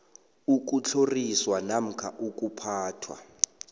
ukutlhoriswa namkha ukuphathwa